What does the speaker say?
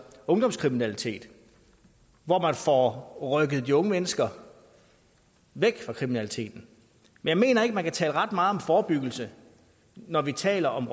ungdomskriminalitet hvor man får rykket de unge mennesker væk fra kriminaliteten jeg mener ikke man kan tale ret meget om forebyggelse når vi taler om